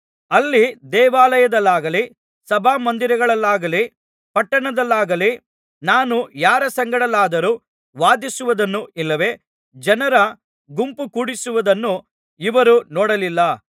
ಅಲ್ಲಿ ದೇವಾಲಯದಲ್ಲಾಗಲಿ ಸಭಾಮಂದಿರಗಳಲ್ಲಾಗಲಿ ಪಟ್ಟಣದಲ್ಲಾಗಲಿ ನಾನು ಯಾರ ಸಂಗಡಲಾದರೂ ವಾದಿಸುವುದನ್ನು ಇಲ್ಲವೆ ಜನರ ಗುಂಪು ಕೂಡಿಸುವುದನ್ನು ಇವರು ನೋಡಲಿಲ್ಲ